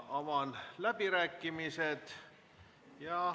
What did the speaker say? Avan läbirääkimised.